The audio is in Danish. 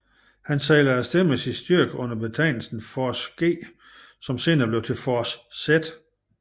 Han sejlede af sted med sin styrke under betegnelsen Force G som senere blev til Force Z